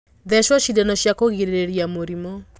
Thecwo cindano cia kũgirĩrĩria mĩrimũ.